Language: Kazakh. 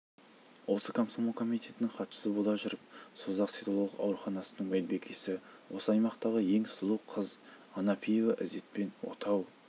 осы комсомол комитетінің хатшысы бола жүріп созақ селолық ауруханасының медбикесі осы аймақтағы ең сұлу қыз анапияева ізетпен отау